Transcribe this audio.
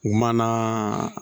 U ma na